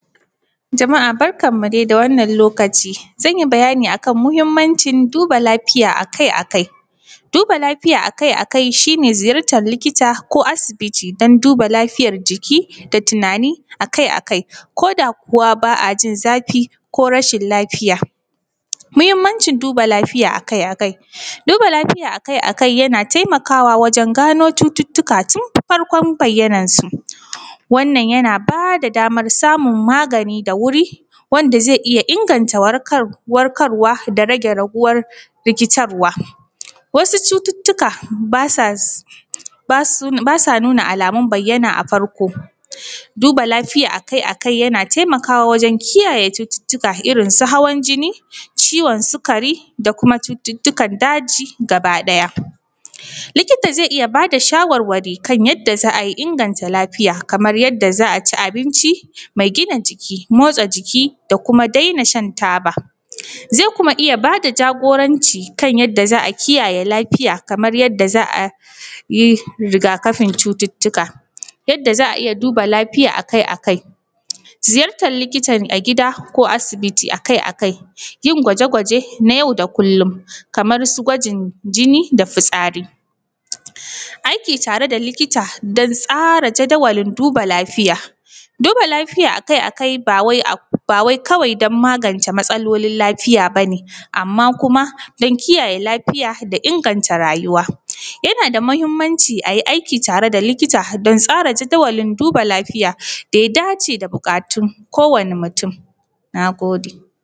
Jama’a barkanmu dai da wannan lokaci, zan yi bayani akan muhimmancin duba lafiya akai-akai. Duba lafiya akai-akai shi ne ziyartan likita ko asibiti don duba lafiyar jiki da tunani akai-akai koda kuwa ba a jin zafi ko rashin lafiya. Muhinmancin duba lafiya akai-kakai, duba lafiya akai-akai yana taimakawa wajen gano cututtuka tun farkon bayyanan shi, wannan yana bada damar samaun magani da wuri wanda ze iya inganta warkarwa da rage yaɗuwar rikitarwa, wasu cututtuka ba sa, ba su nuna alamun bayyana a farko, duba lafiya akai-akai yana kiyaye yawan yaɗuwan cututuukan irin su hawan jinni, ciwon sikari, da kuma cututukan daji, gabaɗaya likita ze iya bada shawarwari kan yadda za a iya inganta lafiya. Kamar yadda za a ci abinci me gina jiki, motsa jiki da kuma daina shan taba, ze kuma iya bada jagoranci kan yadda za a kiyaye lafiya; kamar yadda za a yi rigakafin cututtuka. Yadda za a iya duba lafiya akai-akai, ziyartan likitan a gida ko asibiti akai-akai, yin gwaje-gwaje na yau da kullum kamar su gwajin jinni, da fitsari, aiki tare da likita don tsara jadawalin duba lafiya. Duba lafiya akai-akai ba wai kawai don magance matsalolin lafiya ba ne, amma kuma don kiyaye lafiya da inganta rayuwa yana da mahinmanci a yi aiki tare da likita domin tsara jadawalin duba lafiya da ya dace da buƙatun ko wani mutum. Na gode.